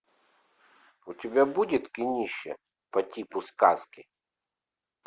у тебя будет кинище по типу сказки